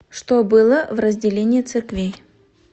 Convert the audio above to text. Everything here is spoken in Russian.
что было в разделение церквей